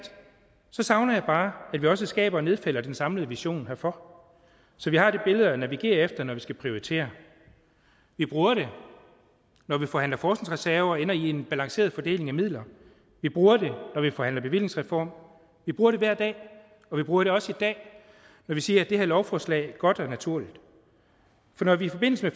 savner jeg bare at vi også skaber og nedfælder den samlede vision herfor så vi har det billede at navigere efter når vi skal prioritere vi bruger det når vi forhandler forskningsreserve og ender i en balanceret fordeling af midler vi bruger det når vi forhandler bevillingsreform vi bruger det hver dag og vi bruger det også i dag når vi siger at det her lovforslag er godt og naturligt for når vi i forbindelse